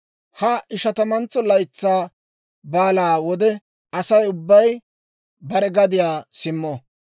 « ‹Ha Ishatamantso Laytsaa Baalaa wode Asay ubbay bare gadiyaa simmo.